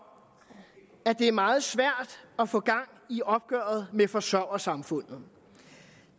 det er meget svært at få gang i opgøret med forsørgersamfundet